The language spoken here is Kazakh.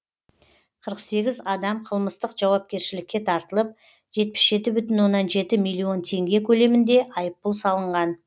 қырық сегіз адам қылмыстық жауапкершілікке тартылып жетпіс жеті бүтін оннан жеті миллион теңге көлемінде айыппұл салынған